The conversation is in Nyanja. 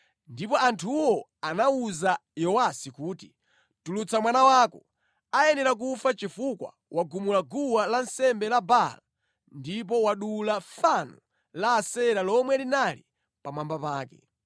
Ndipo anthuwo anawuza Yowasi kuti, “Tulutsa mwana wako, ayenera kufa chifukwa wagumula guwa lansembe la Baala ndipo wadula fano la Asera lomwe linali pamwamba pake.”